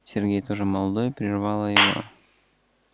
сергей тоже молодой прервала его